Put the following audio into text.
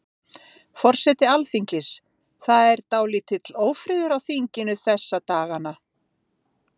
Forseti Alþingis, það er dálítill ófriður á þinginu þessa dagana?